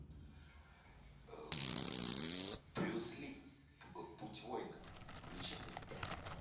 брюс ли путь воина включи мне